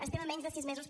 estem a menys de sis mesos